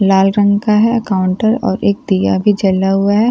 लाल रंग का है काउंटर और एक दिया भी जला हुआ है।